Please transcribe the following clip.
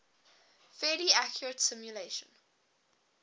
fairly accurate simulation